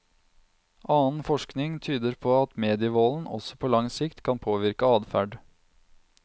Annen forskning tyder på at medievolden også på lang sikt kan påvirke adferd.